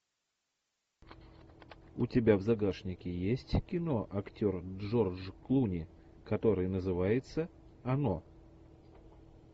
у тебя в загашнике есть кино актер джордж клуни который называется оно